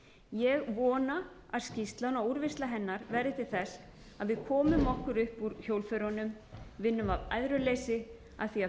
ég vona að skýrslan og úrvinnsla hennar verði til þess að við komum okkur upp úr hjólförunum vinnum af æðruleysi að því að